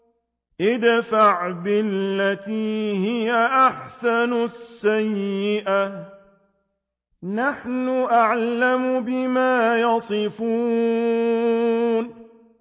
ادْفَعْ بِالَّتِي هِيَ أَحْسَنُ السَّيِّئَةَ ۚ نَحْنُ أَعْلَمُ بِمَا يَصِفُونَ